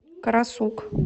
карасук